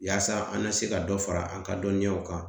Yaasa an ka se ka dɔ fara an ka dɔnniyaw kan